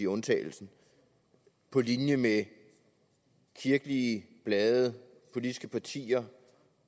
undtagelsen på linje med kirkelige blade politiske partier